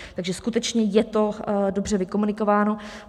Takže skutečně je to dobře vykomunikováno.